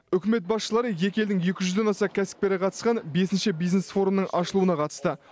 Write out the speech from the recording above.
үкімет басшылары екі елдің екі жүзден аса кәсіпкері қатысқан бесінші бизнес форумның ашылуына қатысты